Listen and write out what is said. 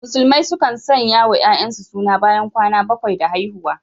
Musulmai sukan sanyawa ‘ya’yansu suna bayan kwana bakwai da haihuwa.